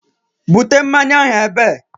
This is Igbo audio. Bute mmanya ahụ ebe!